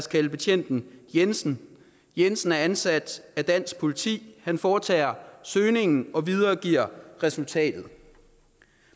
kalde betjenten jensen jensen er ansat af dansk politi han foretager søgningen og videregiver resultatet